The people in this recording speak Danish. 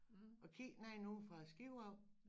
Og kigge nedenunder fra æ skib af